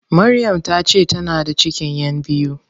Maryam tace tana da cikin ƴan biyu.